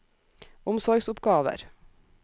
omsorgsoppgaver